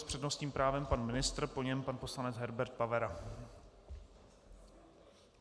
S přednostním právem pan ministr, po něm pan poslanec Herbert Pavera.